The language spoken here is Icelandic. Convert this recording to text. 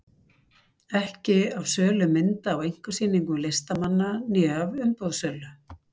Ekki af sölu mynda á einkasýningum listamanna né af uppboðssölu.